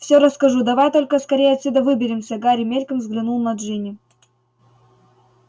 всё расскажу давай только скорее отсюда выберемся гарри мельком взглянул на джинни